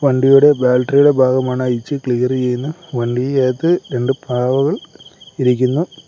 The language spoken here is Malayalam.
വണ്ടിയുടെ ബാറ്ററിയുടെ ഭാഗമാണ് അഴിച്ച് ക്ലിയർ ചെയ്യുന്നെ വണ്ടിക്കകത്ത് രണ്ട് പാവകൾ ഇരിക്കുന്നു.